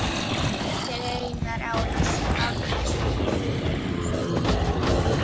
eftir Einar Árnason